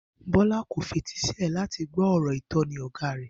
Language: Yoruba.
Bó̩lá kò fetísílè̩ láti gbó̩ ò̩rò̩ ìtó̩ni ò̩gá rè